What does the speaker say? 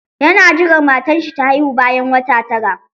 Yana jiran matar shi ta haihu bayan wata tara.